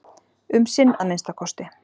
Um sinn að minnsta kosti.